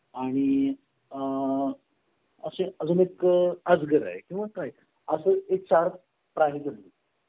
आणि अ आह असे अजून एक अजगर आहे किंवा काय असं चार प्राणी गली